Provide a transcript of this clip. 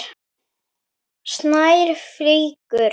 Snær fýkur.